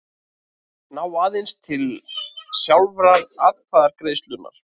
ná aðeins til sjálfrar atkvæðagreiðslunnar.